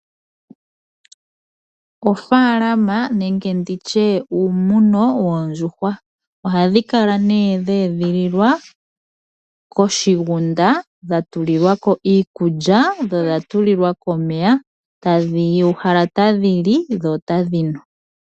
Ofaalama nenge uumuno woondjuhwa. Ohadhi kala nee dhe edhililwa koshigunda dha tulilwako iikulya dho odhatulilwako omeya ,tadhi uhala tadhili dho otadhinu